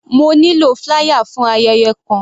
Mo nílò flier for ayẹyẹ kan.